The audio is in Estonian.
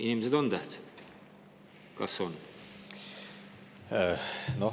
Kas inimesed on tähtsad?